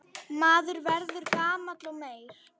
Maður verður gamall og meyr.